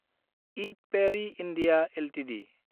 इद पेरि (इन्डिया) एलटिडि